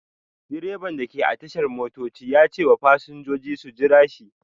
Direban da ke a tashar motoci ya ce wa fasinjoji su jira shi.